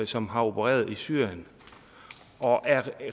som har opereret i syrien og er